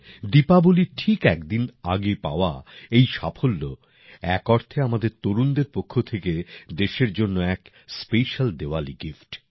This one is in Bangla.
দীপাবলীর ঠিক এক দিন আগে পাওয়া এই সাফল্য এক অর্থে আমাদের তরুণদের পক্ষ থেকে দেশের জন্য এক স্পেশাল দীওয়ালি গিফট